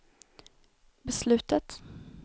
beslutet